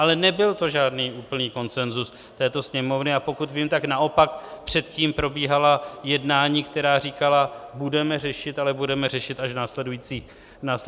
Ale nebyl to žádný úplný konsenzus této Sněmovny, a pokud vím, tak naopak předtím probíhala jednání, která říkala: budeme řešit, ale budeme řešit až v následujících bodech.